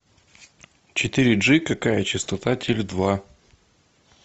четыре джи какая частота теле два